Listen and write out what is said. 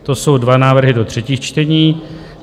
To jsou dva návrhy do třetích čtení.